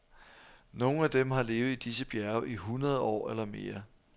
Nogle af dem har levet i disse bjerge i hundrede år eller mere.